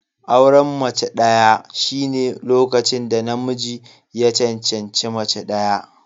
Auren mace ɗaya shine lokacin da namiji ya cancanci mace ɗaya.